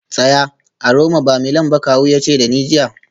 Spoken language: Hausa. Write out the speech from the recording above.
Tsaya a Roma ba Milan ba kawu ya ce da ni jiya